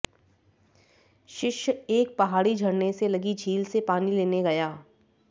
शिष्य एक पहाड़ी झरने से लगी झील से पानी लेने गया